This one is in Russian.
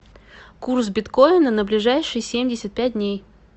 курс биткоина на ближайшие семьдесят пять дней